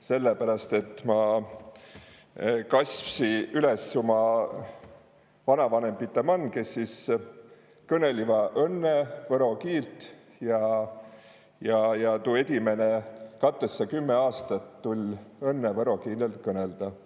Selleperäst, et ma kasvsi üles ummi vanavanembite man, kes sis kõnelivõ õnne võro kiilt, ja tu edimene katessa-kümme aastat tul õnne võro keelen kõnelda.